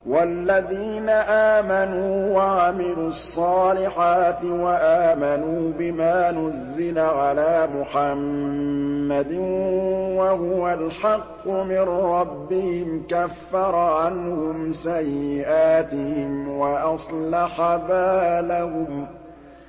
وَالَّذِينَ آمَنُوا وَعَمِلُوا الصَّالِحَاتِ وَآمَنُوا بِمَا نُزِّلَ عَلَىٰ مُحَمَّدٍ وَهُوَ الْحَقُّ مِن رَّبِّهِمْ ۙ كَفَّرَ عَنْهُمْ سَيِّئَاتِهِمْ وَأَصْلَحَ بَالَهُمْ